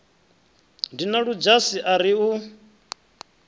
dina ludzhasi a ri u